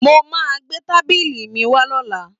Mo máa gbé tábìlì mi wá lọ́la